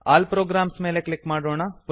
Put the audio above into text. all programs ಮೇಲೆ click ಮಾಡೋಣ